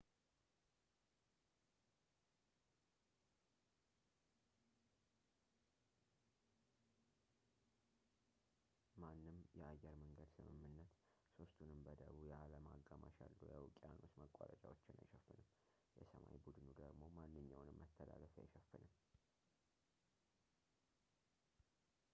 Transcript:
ማንም የአየርመንገድ ስምምነት ሦስቱንም በደቡብ የዓለም አጋማሽ ያሉ የውቅያኖስ ማቋረጫዎችን አይሸፍንም የሰማይ ቡድኑ ደግሞ ማንኛውንም መተላለፊያ አይሸፍንም